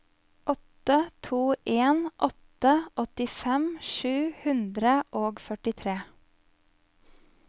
åtte to en åtte åttifem sju hundre og førtitre